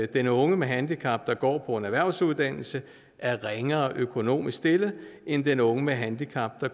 den unge med handicap der går på en erhvervsuddannelse er ringere økonomisk stillet end den unge med handicap der